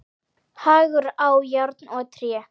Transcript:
Hagur á járn og tré.